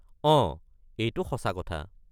অঁ এইটো সঁচা কথা।